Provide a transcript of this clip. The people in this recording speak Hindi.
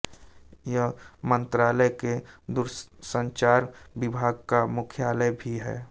यह मंत्रालय के दूरसंचार विभाग का मुख्यालय भी है